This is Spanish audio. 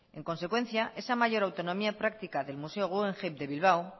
en consecuencia esa mayor autonomía práctica del museo guggenheim de bilbao